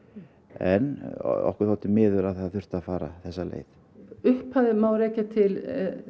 en okkur þótti miður að það þurfti að fara þessa leið upphafið má rekja til